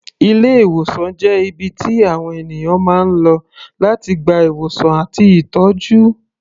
Ilé-ìwòsàn jẹ́ ibi tí àwọn ènìyàn máa ń lọ láti gba ìwòsàn àti ìtọ́jú.